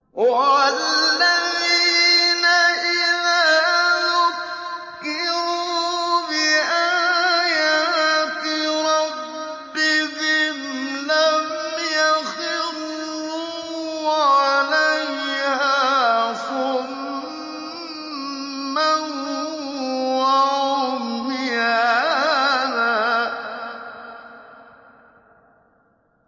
وَالَّذِينَ إِذَا ذُكِّرُوا بِآيَاتِ رَبِّهِمْ لَمْ يَخِرُّوا عَلَيْهَا صُمًّا وَعُمْيَانًا